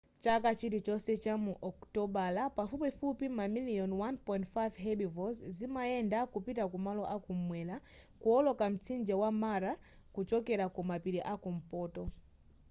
chaka chilichonse chamu okutobala pafupifupi mamiliyoni 1.5 herbivores zimayenda kupita ku malo akumwera kuwoloka mtsinje wa mara kuchokera ku mapiri a kumpoto